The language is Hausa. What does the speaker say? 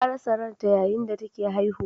Ta rasa ranta yayin da take haihuwa.